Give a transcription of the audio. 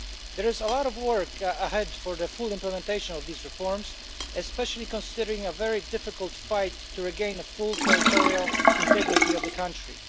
There is a lot of work ahead for the full implementation of these reforms, especially considering a very difficult fight to regain full territorial integrity of the country.